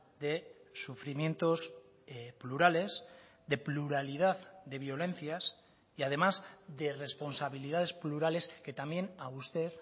de sufrimientos plurales de pluralidad de violencias y además de responsabilidades plurales que también a usted